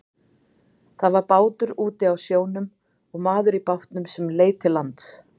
Það var bátur úti á sjónum og maður í bátnum sem leit til lands.